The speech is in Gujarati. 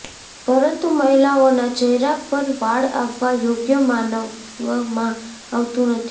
પરંતુ મહિલાઓના ચહેરા પર વાળ આવવા યોગ્ય માનવામાં આવતું નથી